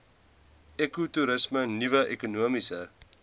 ekotoerisme nuwe ekonomiese